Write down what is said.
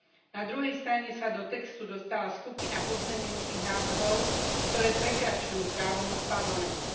Na druhej strane sa do textu dostala skupina pozmeňujúcich návrhov, ktoré prekračujú právomoc Parlamentu.